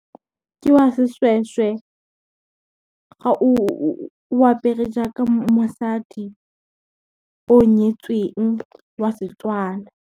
Ke wa seshweshwe, ga o apere jaaka mosadi o nyetsweng wa Setswana.